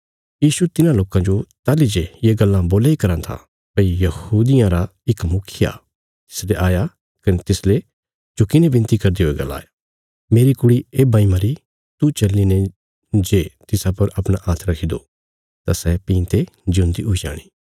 यीशु तिन्हां लोकां जो ताहली जे ये गल्लां बोल्या इ कराँ था भई यहूदियां रा इक मुखिया तिसले आया कने तिसले झुकीने विनती करदे हुये गलाया मेरी कुड़ी येब्बां इ मरी तू चल्लीने जे तिसा पर अपणा हात्थ रखी दो तां सै भीं ते ज्यून्दी हुई जाणी